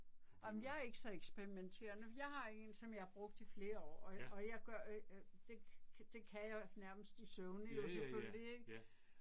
Ej men jeg er ikke så eksperimenterende jeg har en som jeg har brugt i flere år og og jeg gør det kan jeg nærmest i søvne jo selvfølgelig ik